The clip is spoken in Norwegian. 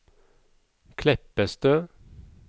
Kleppestø